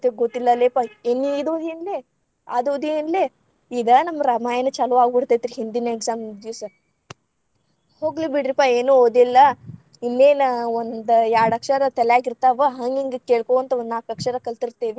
ಗೊತ್ತಿಲ್ಲಾಲೇಪ್ಪಾ, ಏ ನೀನ್‌ ಇದ ಓದಿ ಎನ್ಲೆ? ಅದ ಓದಿ ಎನ್ಲೆ? ಇಗ್ ನಮ್ಮ ರಾಮಾಯಣ ಚಾಲು ಆಗ್ಬಿಡ್ತೇತರಿ ಹಿಂದಿನ exam ಇದ್ದ ದಿವಸ. ಹೋಗ್ಲಿ ಬಿಡ್ರಿಪ್ಪಾ ಏನೂ ಓದಿಲ್ಲಾ‌, ಇಲ್ಲೇನ ಒಂದ್ಯಾಡ ಅಕ್ಷರ ತಲ್ಯಾಗ ಇರ್ತಾವ ಹಂಗ್‌ ಹಿಂಗ್‌ ಕೇಳಕೊಂತ ಒಂದನಾಕ ಅಕ್ಷರಾ ಕಲತೀರತೇವಿ.